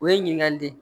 O ye ɲininkali de ye